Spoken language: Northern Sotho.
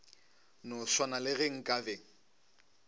no swana le ge nkabe